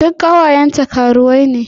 Duk ƙawayenta karuwai ne.